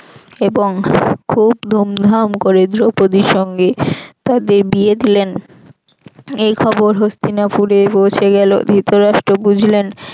এবং খুব ধুমধাম করে দ্রৌপদির সঙ্গে তাদের বিয়ে দিলেন এই খবর হস্তিনাপুরে পৌছে গেল ধৃতরাষ্ট্র বুঝলেন